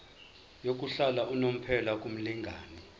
yokuhlala unomphela kumlingani